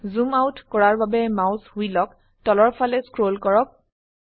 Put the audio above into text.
জুম out কৰাৰ বাবে mouse হুইলক তলৰ ফালে স্ক্ৰল কৰক